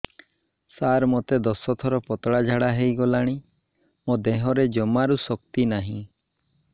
ସାର ମୋତେ ଦଶ ଥର ପତଳା ଝାଡା ହେଇଗଲାଣି ମୋ ଦେହରେ ଜମାରୁ ଶକ୍ତି ନାହିଁ